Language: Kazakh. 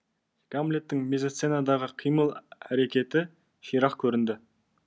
гамлеттің мизасценадағы қимыл әрекеті ширақ көрінді